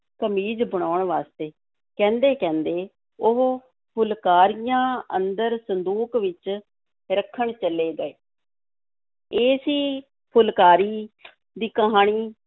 ਕਮੀਜ਼ ਬਣਾਉਣ ਵਾਸਤੇ, ਕਹਿੰਦੇ ਕਹਿੰਦੇ ਉਹ ਫੁਲਕਾਰੀਆਂ ਅੰਦਰ ਸੰਦੂਕ ਵਿੱਚ ਰੱਖਣ ਚਲੇ ਗਏ ਇਹ ਸੀ ਫੁਲਕਾਰੀ ਦੀ ਕਹਾਣੀ,